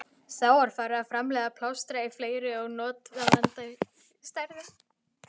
Þá var farið að framleiða plástra í fleiri og notendavænni stærðum.